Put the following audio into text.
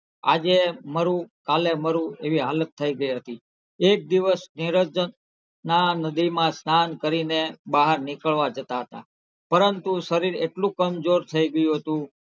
આજે મરૂ કાલે મરૂ એવી હાલત થઇ ગઈ હતી. એક દિવસ નિરંજનના નદીમાં સ્નાન કરીને બહાર નીકળવા જતાં હતાં પરંતુ શરીર એટલું કમજોર થઇ ગયું હતું.